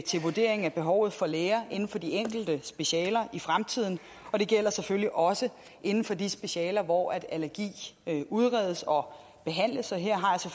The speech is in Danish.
vurderingen af behovet for læger inden for de enkelte specialer i fremtiden og det gælder selvfølgelig også inden for de specialer hvor allergi udredes og behandles her